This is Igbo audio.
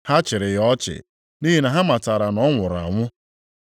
Ha chịrị ya ọchị, nʼihi na ha matara na ọ nwụrụ anwụ.